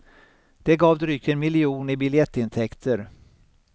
Det gav drygt en miljon i biljettintäkter.